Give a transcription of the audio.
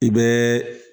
I bɛ